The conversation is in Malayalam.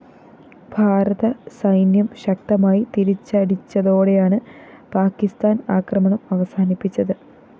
ഭാരത സൈന്യം ശക്തമായി തിരിച്ചടിച്ചതോടെയാണ് പാക്കിസ്ഥാന്‍ ആക്രമണം അവസാനിപ്പിച്ചത്